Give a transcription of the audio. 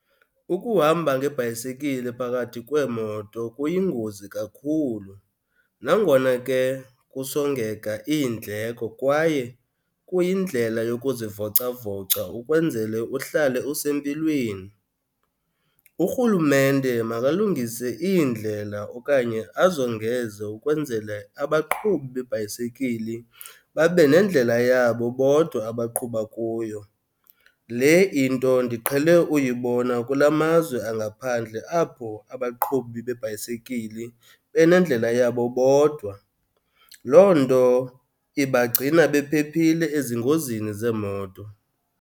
Ukuhamba ngebhayisekile phakathi kweemoto kuyingozi kakhulu, nangona ke kusongeka iindleko kwaye kuyindlela yokuzivocavoca ukwenzele uhlale usempilweni. Urhulumente makalungise iindlela okanye azongeze ukwenzele abaqhubi beebhayisikili babe nendlela yabo bodwa abaqhuba kuyo. Le into ndiqhele uyibona kula mazwe angaphandle, apho abaqhubi beebhayisikili benendlela yabo bodwa. Loo nto ibagcina bephephile ezingozini zeemoto.